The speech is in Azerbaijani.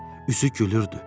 Üzü gülürdü.